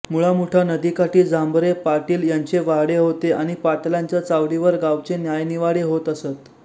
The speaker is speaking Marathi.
मुळामुठा नदीकाठी झांबरे पाटील यांचे वाडे होते आणि पाटलांच्या चावडीवर गावचे न्यायनिवाडे होत असत